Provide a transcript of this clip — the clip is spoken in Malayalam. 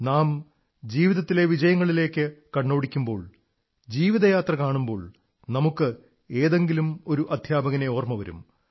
നാം ജീവിതത്തിലെ വിജയങ്ങളിലേക്കു കണ്ണോടിക്കുമ്പോൾ ജീവിതയാത്ര കാണുമ്പോൾ നമുക്ക് ഏതെങ്കിലുമൊരു അധ്യാപകനെ ഓർമ്മ വരും